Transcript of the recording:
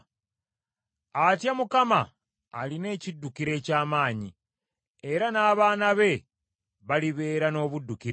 Atya Mukama alina ekiddukiro eky’amaanyi, era n’abaana be balibeera n’obuddukiro.